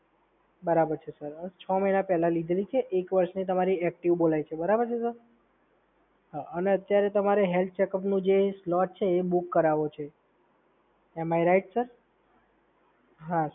બરાબર છે સર, છ મહિના પહેલા લીધેલી છે. એક વર્ષની તમારી એક્ટિવ બોલાય છે, બરાબર છે સર? અને અત્યારે તમારે હેલ્થ ચેકઅપનું જે સ્લેબ છે એ બુક કરાવવું છે.